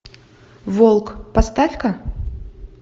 волк поставь ка